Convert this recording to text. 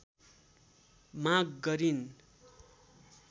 माग गरिन्